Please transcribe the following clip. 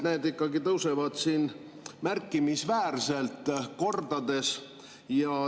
Need tõusevad ikkagi märkimisväärselt, kordades.